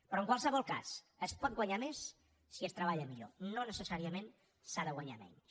però en qualsevol cas es pot guanyar més si es treballa millor no necessàriament s’ha de guanyar menys